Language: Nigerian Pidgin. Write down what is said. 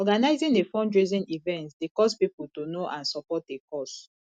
organizing a fundraising event dey cause pipo to know and support a cause